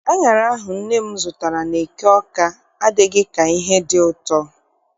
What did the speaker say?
Aṅara ahụ nne m zụtara n'eke Awka adịghị ka ihe dị ụtọ.